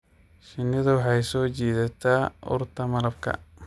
Shinnidu waxay soo jiidataa urta malabka.